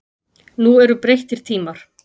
Nú eru breyttir tímar.